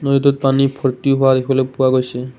পানী ভৰ্তি হোৱাও দেখিবলৈ পোৱা গৈছে।